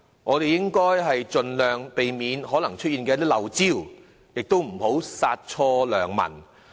我們應該盡量避免可能出現的"漏招"，亦不要殺錯良民。